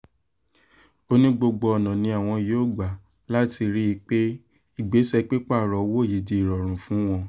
ó ní gbogbo ọ̀nà làwọn yóò gbà láti rí i pé ìgbésẹ̀ pípààrọ̀ owó yìí di ìrọ̀rùn fún wọn